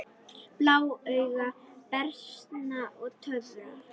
Blá augu, bernska og töfrar